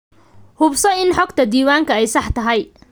Hubso in xogta diiwaanka ay sax tahay.